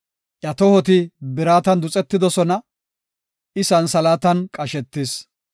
Iya tohoti biratan duxetidosona; I santhalaatan qashetis.